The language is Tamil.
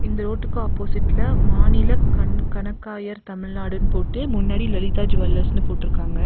இந்த ரோட்டுக்கு ஆப்போசிட்ல மாநில கண் கணக்காயர் தமிழ்நாடுன்னு போட்டு முன்னாடி லலிதா ஜூவள்ளர்ஸ்னு போட்ருக்காங்க.